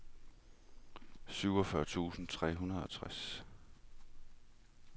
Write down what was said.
syvogfyrre tusind tre hundrede og tres